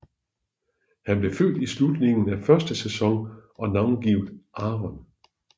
Han blev født i slutningen af første sæson og navngivet Aaron